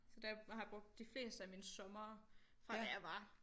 Så der har jeg brugt de fleste af mine sommere fra da jeg var